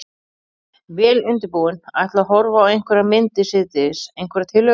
Vel undirbúinn. ætla að horfa á einhverjar myndir síðdegis, einhverjar tillögur?